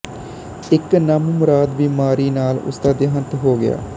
ਇੱਕ ਨਾਮੁਰਾਦ ਬਿਮਾਰੀ ਨਾਲ ਉਸਦਾ ਦੇਹਾਂਤ ਹੋ ਗਿਆ